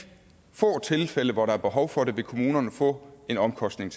få tilfælde hvor der er behov for det vil kommunerne få en omkostning